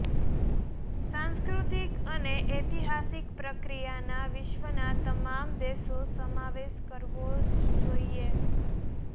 સાંસ્કૃતિક અને ઐતિહાસિક પ્રક્રિયાના વિશ્વના તમામ દેશો સમાવેશ કરવો જ જોઇએ